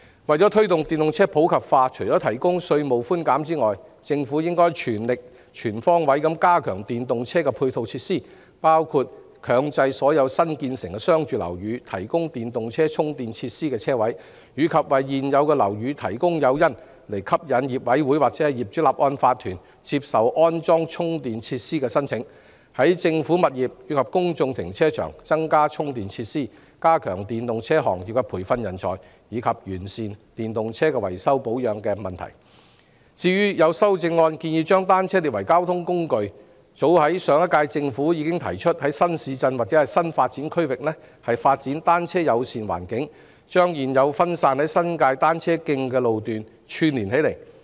為了推動電動車普及化，除提供稅務寬減外，政府應全力及全方位加強電動車的配套設施，包括強制所有新建成的商住樓宇提供電動車充電設施車位，以及為現有樓宇提供誘因，吸引業主委員會或業主立案法團接受安裝充電設施的申請；在政府物業及公眾停車場增加電動車充電設施；加強為電動車行業培訓人才，以及完善電動車的維修保養服務。至於有議員的修正案建議把單車列為交通工具，其實上屆政府已提出在新市鎮或新發展區發展"單車友善"環境，把現有零散的新界單車徑串連起來。